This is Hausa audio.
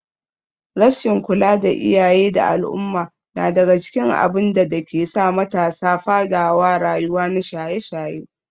rasshin kula na iyaye da al umma nadaga cikin abinda dakesa matasa fadawa rayuwa na shaye shaye